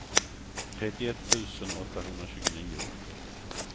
trettioett tusen åttahundratjugonio